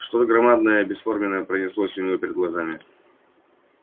что то громадное и бесформенное пронеслось у него перед глазами